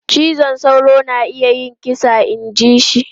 Cizon sauro na iya yin kisa inji shi.